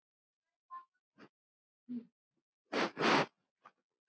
Og mig!